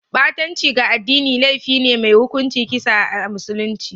Ɓatanci ga addini laifi ne mai hukuncin kisa a musulunce